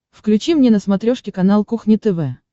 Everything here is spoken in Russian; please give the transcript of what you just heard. включи мне на смотрешке канал кухня тв